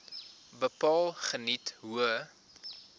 bepaal geniet hoë